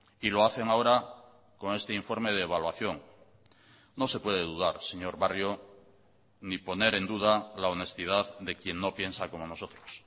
y lo hacen ahora con este informe de evaluación no se puede dudar señor barrio ni poner en duda la honestidad de quien no piensa como nosotros